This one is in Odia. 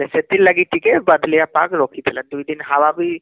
ସେଥିର ଲାଗି ଟିକେ ବାଦଲିଆ ପାଗ ରଖିଥିଲା ଦୁଇ ଦିନ ହାୱା ବି